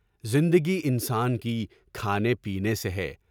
زندگی انسان کی کھانے پینے سے ہے۔